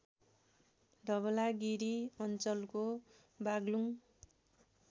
धवलागिरी अञ्चलको बागलुङ